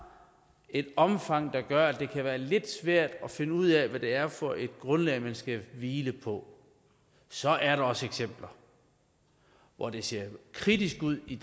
et omfang der gør at det kan være lidt svært at finde ud af hvad det er for et grundlag man skal hvile på så er der også eksempler hvor det ser kritisk ud i